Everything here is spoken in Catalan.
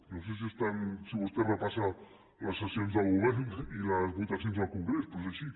no sé si vostè repassa les sessions del govern i les votacions al congrés però és així